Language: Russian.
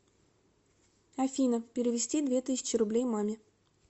афина перевести две тысячи рублей маме